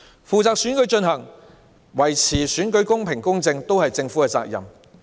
舉行選舉及維持選舉公平、公正，都是政府的責任。